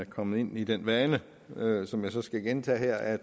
kommet ind i den vane som jeg så skal gentage her at